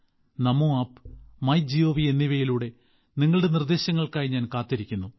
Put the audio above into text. നമോ app MyGov എന്നിവയിലൂടെ നിങ്ങളുടെ നിർദ്ദേശങ്ങൾക്കായി ഞാൻ കാത്തിരിക്കുന്നു